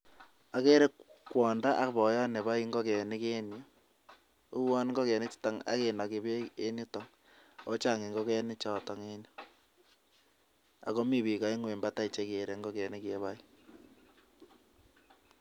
Ageere kwondoo ak boiyot neboe ingokenik en yuh, uon ingogenichu kinogii beek ak chang ingokenichotet, ak mi biik chemi batai chegere ingogenik chekiboe.